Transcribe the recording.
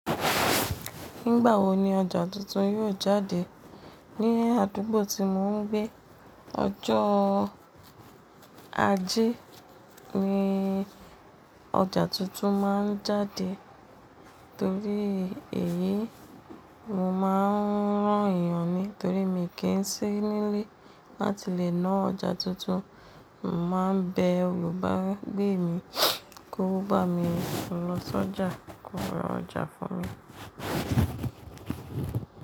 Nígbà wo ni ọjà tuntun yóò jáde? Ní àdúgbò tí mò ń gbé ọjọ́ ajé ni ọjà tuntun máa ń jáde torí èyí mo máa ń rán ìyàn ní torí mi kì í sí nílé láti lè ná ọjà tuntun. Mo máa ń bẹ olùbágbẹ̀ mi kó bá mi lọ sọ́jà kó ra ọjà fún mi.